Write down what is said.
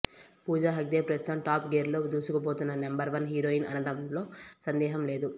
పూజ హెగ్డే ప్రస్తుతం top gear లో దూసుకుపోతున్న నెంబర్ వన్ హీరోయిన్ అనటంలో సందేహం లేదు